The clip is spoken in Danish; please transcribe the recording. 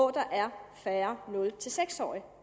er færre nul seks årige